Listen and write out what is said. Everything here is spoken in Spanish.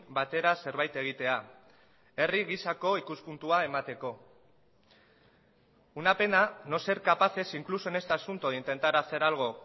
batera zerbait egitea herri gisako ikuspuntua emateko una pena no ser capaces incluso en este asunto de intentar hacer algo